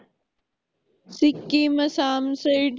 Sikkim Assam Side